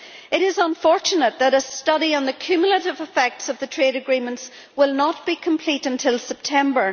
It is unfortunate that a study on the cumulative effects of the trade agreements will not be complete until September.